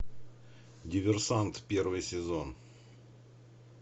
диверсант первый сезон